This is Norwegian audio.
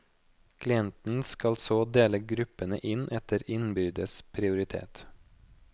Klienten skal så dele gruppene inn etter innbyrdes prioritet.